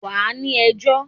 wa ni ẹjọ!